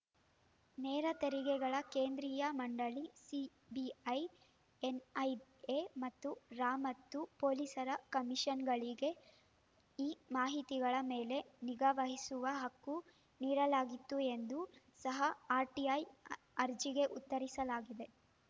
ನೇರ ತೆರಿಗೆಗಳ ಕೇಂದ್ರೀಯ ಮಂಡಳಿ ಸಿಬಿಐ ಎನ್‌ಐಎ ಮತ್ತು ರಾ ಮತ್ತು ಪೊಲೀಸರ ಕಮಿಷನ್‌ಗಳಿಗೆ ಈ ಮಾಹಿತಿಗಳ ಮೇಲೆ ನಿಗಾ ವಹಿಸುವ ಹಕ್ಕು ನೀಡಲಾಗಿತ್ತು ಎಂದು ಸಹ ಆರ್‌ಟಿಐ ಅರ್ಜಿಗೆ ಉತ್ತರಿಸಲಾಗಿದೆ